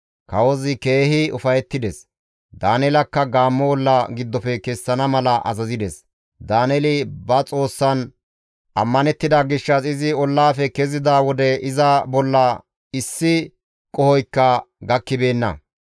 Kawozi keehi ufayettides; Daaneelakka gaammo olla giddofe kessana mala azazides. Daaneeli ba Xoossan ammanettida gishshas izi ollafe kezida wode iza bolla issi qohoykka gakkibeenna.